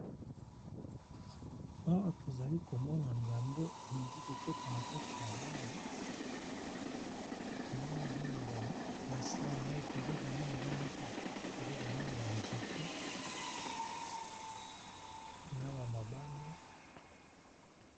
Awa tozali komona ngando elingi kokotana kati ya mayi, tomoni eza na se ya mayi toza komona eza neti toza komona ba nzete , na ba mabanga.